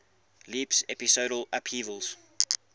leaps episodal upheavals